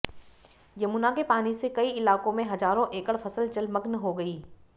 यमुना के पानी से कई इलाकों में हजारों एकड़ फसल जलमग्न हो गई